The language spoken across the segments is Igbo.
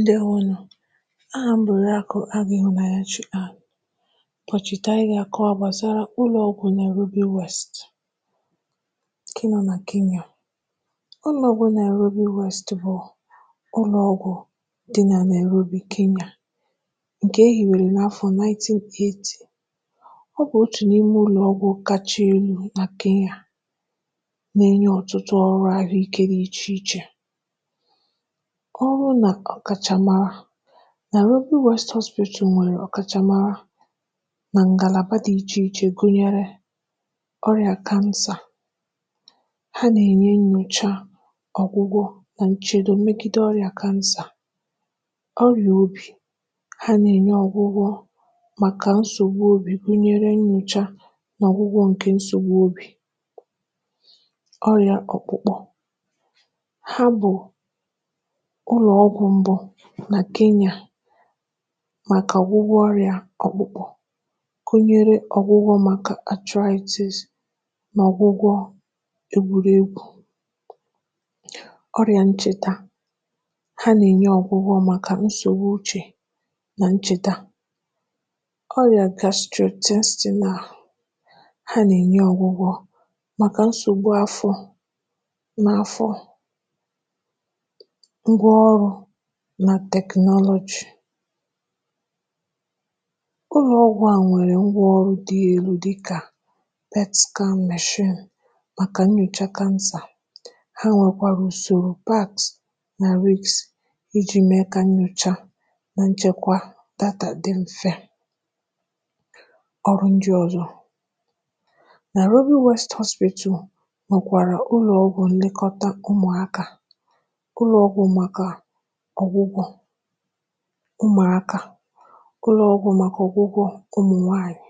ndewonụ. Ahà m bụ̀ Òrìakụ̀ Agụ̀ Ihụnanyachi. Ụlọ̀ ọgwụ̀ Ruby West dị, um, nà Kenya. Ụlọ̀ ọgwụ̀ Ruby West bụ̀ ụlọ̀ ọgwụ̀, uh, dị n’ebe a na-akpọ Nairobi, Kenya. A hiere ya n’afọ̀ puku narị itoolu na iri asatọ. Ọ bụ̀ otu n’ime ụlọ̀ ọgwụ̀ kacha ama ama nà Kenya nke nà-enye, um, ọrụ dị iche iche gbasara ahụike. Ụlọ̀ ọgwụ̀ Ruby West a bụ nke ama ama maka ngalaba dị iche iche, uh, gụnyere ọgwụgwọ ọrịa kansa. Ha na-enye, um, nyocha kansa, ọgwụgwọ, na nchedo megide ọrịa kansa. Maka ọrịan obi, ha na-enye ọgwụgwọ maka nsogbu obi, gụnyere, uh, nyocha na ọgwụgwọ maka nsogbu obi Maka ọrịa ọkpụkpụ, Ruby West na-arụkwa ọrụ, um, maka ọgwụgwọ ọrịa metụtara ọkpụkpụ dịka arthritis, ma na-enye, um, ọgwụgwọ maka mmerụ egwuregwu. Maka ọrịa ncheta, ha na-enye, um, ọgwụgwọ maka nsogbu uche na ncheta. Maka ọrịa afọ, ha na-agwọ, uh, nsogbu afọ na nsogbu mgbaze site n’iji teknụlójị dị elu. Ụlọ̀ ọgwụ̀ a nwere, um, ngwa ọrụ dị elu dịka igwe nyocha kansa. Ha nwekwara usoro nchekwa data na ngwa ọrụ nà-eme, uh, idekọ ozi ọgwụgwọ na nnyocha mfe. Ụlọ ọrụ ndị ọzọ gụnyere ụlọ̀ ọgwụ̀ ụmụaka, ụlọ̀ ọgwụ̀ ụmụ nwanyị, maka, um, ọmụmụ na ahụike ụmụ nwanyị,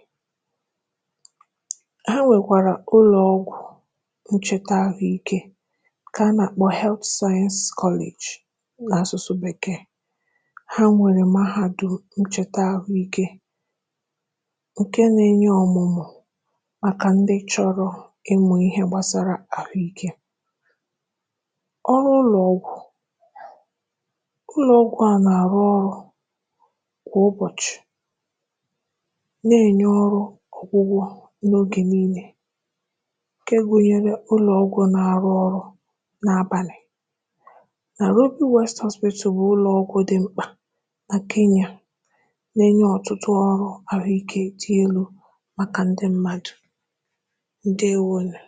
na ebe nchekwa ahụike nke niile. Ha nwekwara mahadum ọmụmụ ahụike, nke a na-akpọ n’asụsụ Bekee Health Science College, nke nà-enye ọmụmụ na ọzụzụ, uh, maka ndị chọrọ ịmụ ihe gbasara ahụike. Ụlọ̀ ọgwụ̀ a na-arụ ọrụ kwa ụbọchị ma na-enye ọrụ ọgwụgwọ, uh, n’oge niile, gụnyere n’abalị. Ụlọ̀ ọgwụ̀ Ruby West bụ ụlọ̀ ọgwụ̀ dị oke mkpa nà Kenya nke nà-enye, um, ọrụ ahụike dị elu maka ndị mmadụ. Daalụ.